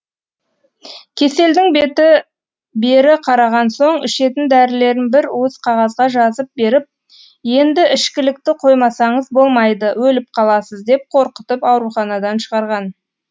кеселдің беті бері қараған соң ішетін дәрілерін бір уыс қағазға жазып беріп енді ішкілікті қоймасаңыз болмайды өліп қаласыз деп қорқытып ауруханадан шығарған